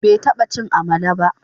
Bai taba cin amala ba.